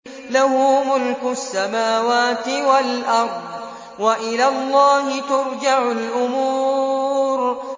لَّهُ مُلْكُ السَّمَاوَاتِ وَالْأَرْضِ ۚ وَإِلَى اللَّهِ تُرْجَعُ الْأُمُورُ